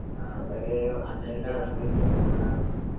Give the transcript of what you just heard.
ആ അതല്ല ആ